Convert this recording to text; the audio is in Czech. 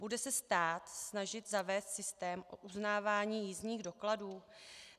Bude se stát snažit zavést systém o uznávání jízdních dokladů?